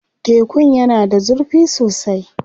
Tekun yana da zurfi sosai.